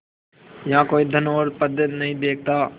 यहाँ कोई धन और पद नहीं देखता